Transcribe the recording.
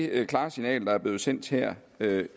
det klare signal der er blevet sendt her